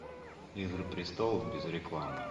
игры престолов без рекламы